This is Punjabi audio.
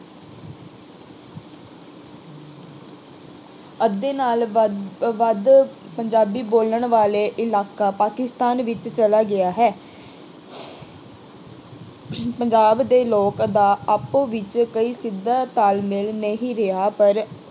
ਅੱਧੇ ਨਾਲੋਂ ਵੱਧ ਅਹ ਵੱਧ ਪੰਜਾਬੀ ਬੋਲਣ ਵਾਲੇ ਇਲਾਕਾ ਪਾਕਿਸਤਾਨ ਵਿੱਚ ਚਲਾ ਗਿਆ ਹੈ। ਪੰਜਾਬ ਦੇ ਲੋਕ ਦਾ ਆਪੋ ਵਿੱਚ ਕੋਈ ਸਿੱਧਾ ਤਾਲਮੇਲ ਨਹੀਂ ਰਿਹਾ ਪਰ